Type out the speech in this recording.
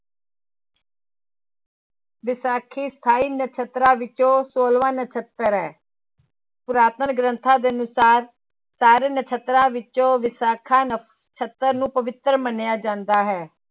ਵਿਸਾਖੀ ਸਤਾਈ ਨਛੱਤਰਾਂ ਵਿੱਚੋਂ ਛੋਲਵਾਂ ਨਛੱਤਰ ਹੈ ਪੁਰਾਤਨ ਗ੍ਰੰਥਾਂ ਦੇ ਅਨੁਸਾਰ ਸਾਰੇ ਨਛੱਤਰਾਂ ਵਿੱਚੋਂ ਵਿਸਾਖਾ ਨਛੱਤਰ ਨੂੰ ਪਵਿੱਤਰ ਮੰਨਿਆ ਜਾਂਦਾ ਹੈ।